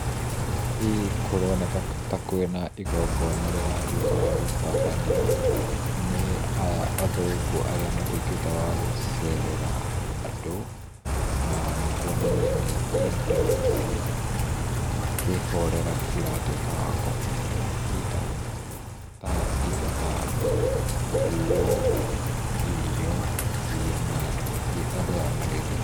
Hĩĩ kũronĩka ta kũĩna igongona rĩratũĩka wa gũtabanio, nĩ aya athũngu arĩa matũikĩte wa gũcerera andũ, na nĩkũonania nĩ indo cia kĩhorera cira tũĩka wa kũheo either ta indo ta nguo, irio ciria marĩ andũ aya maretia.